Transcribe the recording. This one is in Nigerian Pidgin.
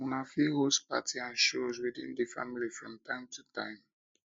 una fit host party and shows within di family from time to time